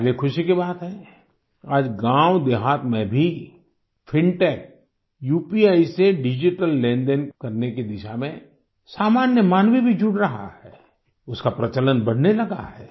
हमारे लिए ख़ुशी की बात है आज गाँव देहात में भी फिनटेक उपी से डिजिटल लेनदेन करने की दिशा में सामान्य मानवी भी जुड़ रहा है उसका प्रचलन बढ़ने लगा है